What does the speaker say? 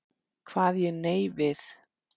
Kvað ég nei við.